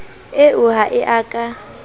eo ha e a ka